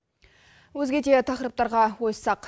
өзге де тақырыптарға ойыссақ